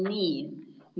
Nii.